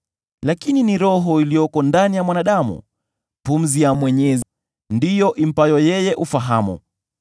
Lakini ni Roho iliyoko ndani ya mwanadamu, pumzi ya Mwenyezi, ndiyo impayo yeye ufahamu.